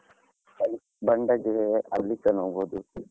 Bandaje .